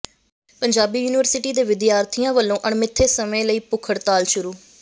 Punjabi university ਦੇ ਵਿਦਿਆਰਥੀਆਂ ਵਲੋਂ ਅਣਮਿੱਥੇ ਸਮੇਂ ਲਈ ਭੁੱਖ ਹੜਤਾਲ ਸ਼ੁਰੂ